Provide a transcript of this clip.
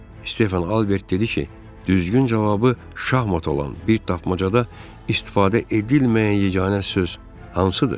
Stefan Albert dedi ki, düzgün cavabı şahmat olan bir tapmacada istifadə edilməyən yeganə söz hansıdır?